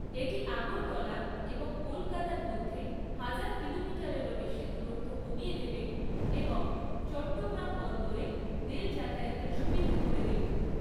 এটি আগরতলা এবং কলকাতার মধ্যে হাজার কিলোমিটারেরও বেশি দূরত্ব কমিয়ে দেবে এবং চট্টগ্রাম বন্দরে রেল যাতায়াতের সুবিধে করে দেবে।